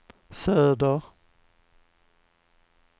söder